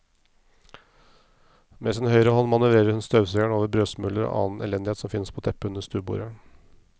Med sin høyre hånd manøvrerer hun støvsugeren over brødsmuler og annen elendighet som finnes på teppet under stuebordet.